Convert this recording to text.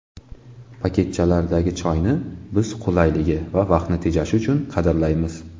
Paketchalardagi choyni biz qulayligi va vaqtni tejashi uchun qadrlaymiz.